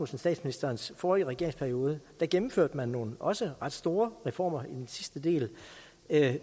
statsministerens forrige regeringsperiode gennemførte man nogle også ret store reformer i den sidste del